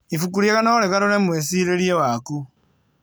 Ibuku rĩega no rĩgarũre mwĩcirĩrie waku.